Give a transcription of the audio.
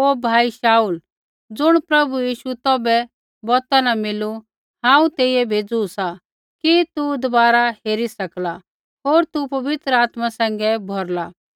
हे भाई शाऊल ज़ुण प्रभु यीशु तौभै बौता न मिलू हांऊँ तेइयै भेज़ू सा कि तू दबारा हेरी सकला होर तू पवित्र आत्मा सैंघै भौरला